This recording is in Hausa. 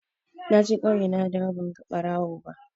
Naje ƙauye nadawo banga ɓarawo ba.